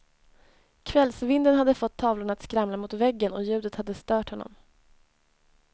Kvällsvinden hade fått tavlorna att skramla mot väggen, och ljudet hade stört honom.